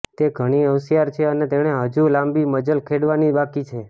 તે ઘણી હોંશિયાર છે અને તેણે હજુ લાંબી મજલ ખેડવાની બાકી છે